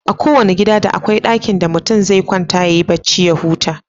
A kowanna gida da akwai ɗakin da mutum zai kwanta yayi bacci ya huta.